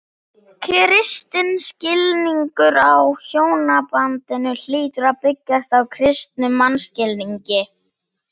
Kristinn skilningur á hjónabandinu hlýtur að byggjast á kristnum mannskilningi.